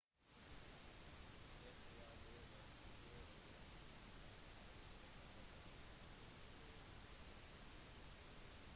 det var basert på det tyske alfabetet og karakteren «õ/õ» ble lagt til